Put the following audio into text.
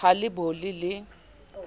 ha e le bo le